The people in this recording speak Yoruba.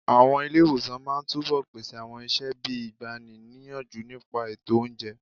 Àwọn ilé ìwòsàn máa túbọ̀ pèsè àwọn iṣẹ́ bíi ìgbani níyànjú nípa ètò oúnjẹ.